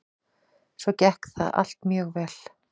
Svo gekk það allt mjög vel.